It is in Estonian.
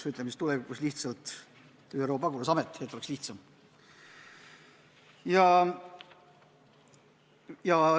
Nimetame seda ÜRO pagulasametiks, et oleks lihtsam.